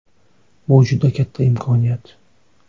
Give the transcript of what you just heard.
Bu juda katta imkoniyat.